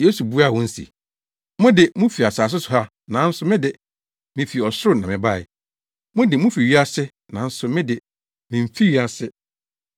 Yesu buaa wɔn se, “Mo de, mufi asase so ha nanso me de, mifi ɔsoro na mebae. Mo de, mufi wiase nanso me de, mimfi wiase,